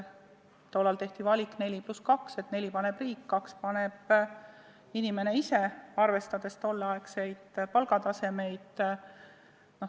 Tollal tehti valik 4 + 2, et 4% paneb riik ja 2% paneb inimene ise, arvestati tolleaegseid palgatasemeid.